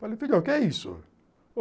Falei, filho, o que é isso?